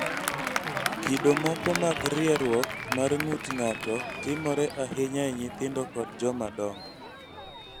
Kido moko mag rieruok mar ng�ut ng�ato timore ahinya e nyithindo kod jomadongo.